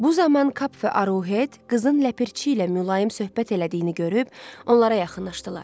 Bu zaman Kap və Arohet qızın ləpirçi ilə mülayim söhbət elədiyini görüb, onlara yaxınlaşdılar.